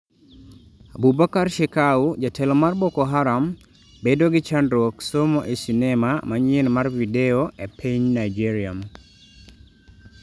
Abubakar Shekau: jaletlo mar Boko Haram 'bedo gi chandruok somo' e sinema manyien mar video e pny Nigeria